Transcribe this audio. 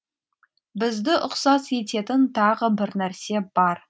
бізді ұқсас ететін тағы бір нәрсе бар